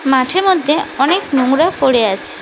মাঠের মধ্যে অনেক নোংরা পড়ে আছে।